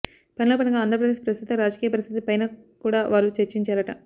పనిలో పనిగా ఆంధ్రప్రదేశ్ ప్రస్తుత రాజకీయ పరిస్థితి పైన కూడా వారు చర్చించారట